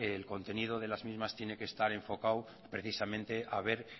el contenido de las mismas tiene que estar enfocado precisamente a ver